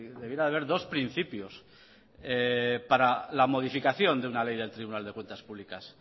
debería de haber dos principios para la modificación de una ley del tribunal vasco de cuentas públicas